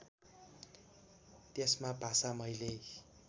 त्यसमा भाषा मैले